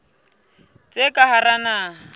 tsa ka hara naha le